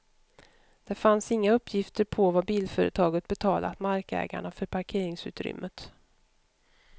Det fanns inga uppgifter på vad bilföretaget betalat markägarna för parkeringsutrymmet.